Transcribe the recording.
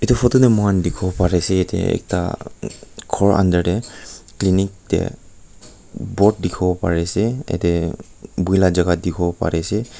etu photo te moi khan dekhi bo Pari se ekta gour under te clinic te boad dekhi bo Pari ase jatte bohe laga jagah dekhi bo Pari ase.